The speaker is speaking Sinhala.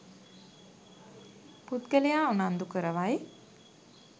පුද්ගලයා උනන්දු කරවයි.